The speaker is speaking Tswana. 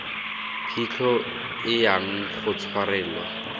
phitlho e yang go tshwarelwa